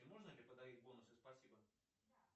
можно ли подарить бонусы спасибо